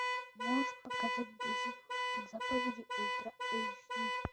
можешь показать десять заповедей ультра эйч ди